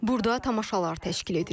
Burda tamaşalar təşkil edirik.